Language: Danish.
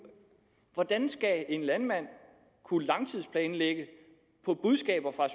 hvordan skal en landmand kunne langtidsplanlægge på budskaber fra